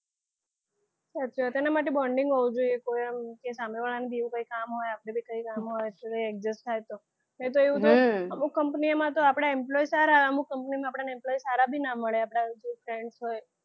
સાચી વાત એના માટે bonding હોવું જોઈએ કે કોઈ આમ સામેવાળાને બીજું કંઈ કામ હોય આપણે પણ કંઈ કામ હોય adjust થાય તો નઈ તો એવું તો અમુક company ઓમાં આપણા employee સારા અમુક company માં આપણા employee સારા ભી ના મળે આપણા જે કોઈ friends હોય